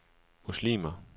muslimer